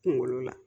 Kunkolo la